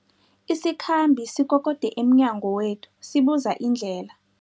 Isikhambi sikokode emnyango wethu sibuza indlela.